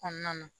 Kɔnɔna na